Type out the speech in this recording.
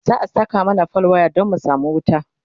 za'a Saka mana fal waya Dan mu samu wuta